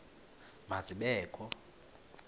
ma zibe kho